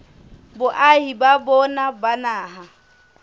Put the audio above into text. boahi ba bona ba naha